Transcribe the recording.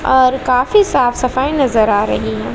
और काफी साफ सफाई नजर आ रही है।